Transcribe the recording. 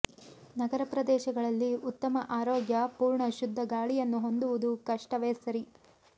ನಗರ ಪ್ರದೇಶಗಳಲ್ಲಿ ಉತ್ತಮ ಆರೋಗ್ಯ ಪೂರ್ಣ ಶುದ್ಧ ಗಾಳಿಯನ್ನು ಹೊಂದುವುದು ಕಷ್ಟವೇ ಸರಿ